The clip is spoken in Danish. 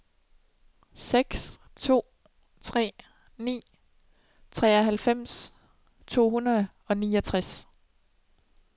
seks to tre ni treoghalvfems to hundrede og niogtres